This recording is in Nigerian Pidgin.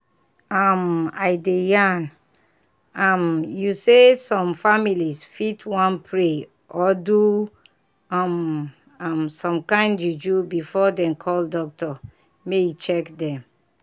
um i dey yarn um you say some families fit wan pray or do um um some kind juju before dem call doctor make e check dem.